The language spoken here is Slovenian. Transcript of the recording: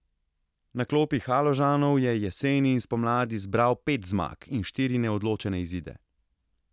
Na klopi Haložanov je jeseni in spomladi zbral pet zmag in štiri neodločene izide.